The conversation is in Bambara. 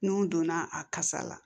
N'o donna a kasa la